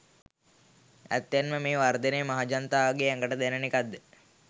ඇත්තෙන්ම මේ වර්ධනය මහජනතාවගේ ඇඟට දැනෙන එකක්ද?